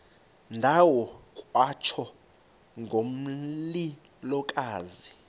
ndawo kwatsho ngomlilokazi